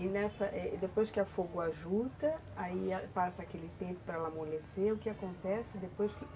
E nessa, depois que a afogou a juta, ajuda, aí passa aquele tempo para ela amolecer, o que acontece depois que...?